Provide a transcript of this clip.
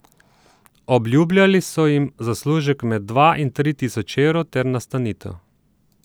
Obljubljali so jim zaslužek med dva in tri tisoč evrov ter nastanitev.